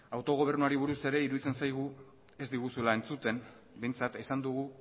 autogobernuari buruz ere iruditzen zaigu ez diguzuela entzuten behintzat esan dugu